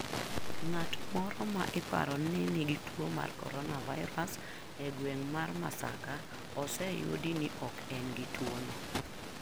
Ng'at moro ma iparo ni nigi tuo mar coronavirus e gweng' mar Masaka oseyudo ni ok en gi tuono.